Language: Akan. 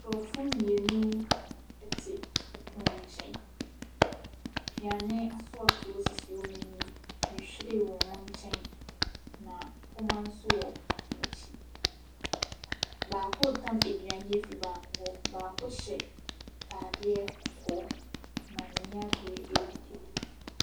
Nkorɔfo mmienu ɛte ɔpono nkyɛn, aduane asɔɔtoo sisi wɔn anim. Nhwiren wɔ ɔmo nkyɛn na mpoma so wɔ wɔn akyi. Baako tam aduane afri baako hɔ, baako hyɛ ataadeɛ kɔkɔɔ, na n'ani abre eedidi.